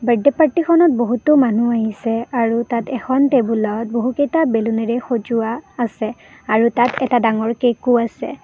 Birthday party খনত বহুতো মানুহ আহিছে আৰু তাত এখন টেবুল ত বহুকেইটা বেলুনেৰে সজোৱা আছে আৰু তাত এটা ডাঙৰ কেক ও আছে।